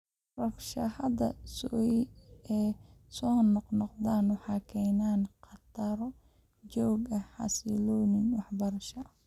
Rabshadaha sokeeye ee soo noqnoqda waxay keenayaan khataro joogto ah xasiloonida waxbarashada.